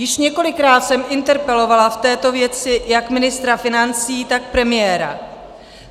Již několikrát jsem interpelovala v této věci jak ministra financí, tak premiéra.